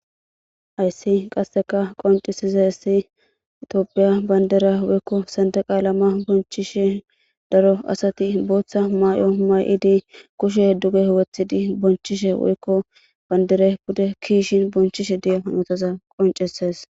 Hayssi qasseka qoncisiza hessi itoophiya bandera woykko sande qaala ma bonchishe daro asati booththa may7o may7idi kushe duge huwethidi bonchishe woykko bandere bude kiishin bonchishe di7a hnotaza qoncises.